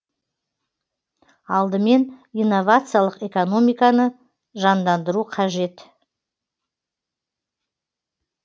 алдымен инновациялық экономиканы жандандыру қажет